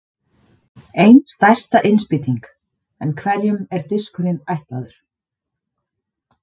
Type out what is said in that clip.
Ein stærsta innspýting En hverjum er diskurinn ætlaður?